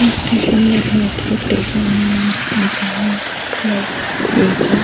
একটা স্টেশন দেখা যাচ্ছে স্টেশন এর ওপরে ফ্লাইওভার রয়েছে।